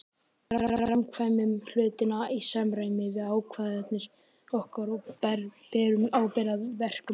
Við framkvæmum hlutina í samræmi við ákvarðanir okkar og berum ábyrgð á verkum okkar.